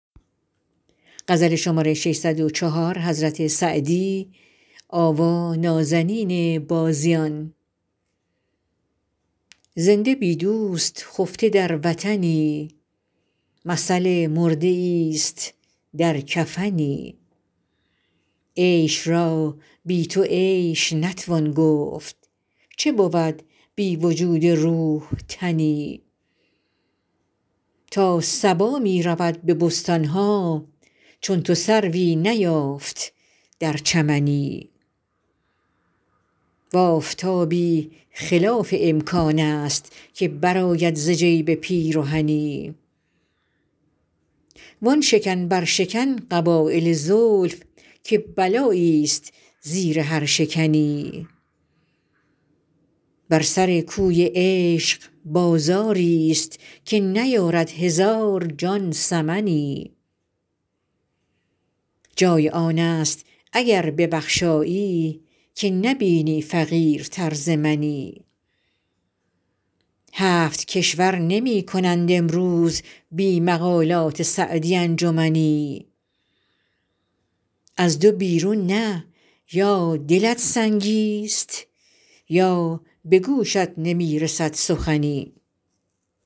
زنده بی دوست خفته در وطنی مثل مرده ایست در کفنی عیش را بی تو عیش نتوان گفت چه بود بی وجود روح تنی تا صبا می رود به بستان ها چون تو سروی نیافت در چمنی و آفتابی خلاف امکان است که برآید ز جیب پیرهنی وآن شکن برشکن قبایل زلف که بلاییست زیر هر شکنی بر سر کوی عشق بازاریست که نیارد هزار جان ثمنی جای آن است اگر ببخشایی که نبینی فقیرتر ز منی هفت کشور نمی کنند امروز بی مقالات سعدی انجمنی از دو بیرون نه یا دلت سنگیست یا به گوشت نمی رسد سخنی